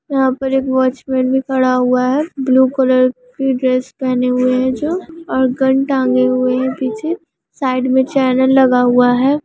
यहाँ पर एक वॉचमैन भी खड़ा हुआ हैं ब्लू कलर की ड्रेस पहने हुए हैं जो और गन टांगे हुए हैं पीछे साइड मैं चैनल लगा हुआ हैं।